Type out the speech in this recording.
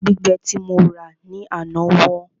Ẹja gbígbẹ tí mo rà ní àná wọ́n